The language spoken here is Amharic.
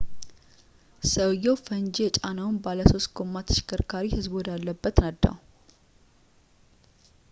ሰውዬው ፈንጂ የጫነውን ባለሶስት ጎማ ተሽከርካሪ ሕዝቡ ወደ አለበት ነዳው